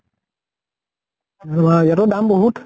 ইয়াটো দাম বহুত